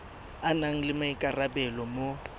a nang le maikarabelo mo